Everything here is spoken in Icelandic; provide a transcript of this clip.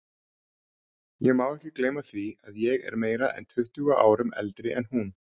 Ég má ekki gleyma því að ég er meira en tuttugu árum eldri en hún.